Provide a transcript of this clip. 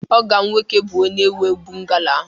ọgọ m nwoke bụ onye nwe bungalow ahụ